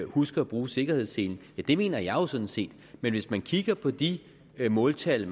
husker at bruge sikkerhedsselen ja det mener jeg jo sådan set men hvis man kigger på de måltal